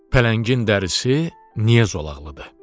Pələngin dərisi niyə zolaqlıdır?